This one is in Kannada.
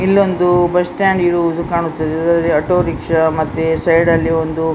ಇಲ್ಲೊಂದು ಬಸ್ ಸ್ಟಾಂಡ್ ಇರುವುದು ಕಾಣುತ್ತದೆ ಇದರಲ್ಲಿ ಆಟೋ ರಿಕ್ಷಾ ಮತ್ತೆ ಸೈಡ್ ಅಲ್ಲಿ ಒಂದು --